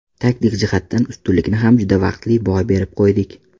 Taktik jihatdan ustunlikni ham juda vaqtli boy berib qo‘ydik.